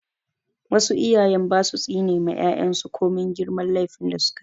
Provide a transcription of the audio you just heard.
Wasu iyayen ba su tsine ma 'ya'yan su komin girman laifin da su ka yi.